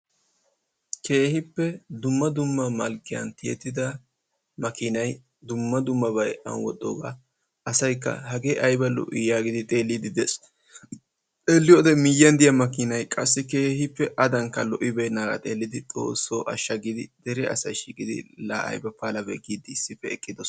Keehippe dumma dumma malkkiyan tiyettida makiinay dumma dummabay aani wodhdhoogaa asaykka hagge ayba lo'ii yaagidi A xeelliiddi de'ees. Xeelliyode miyyiyan de'iya makiinay adankka lo''ibeennaagaa be'idi xoossoo ashsha giidi dere asay shiiqidi laa ayba palabee yaagidi eqqidosona.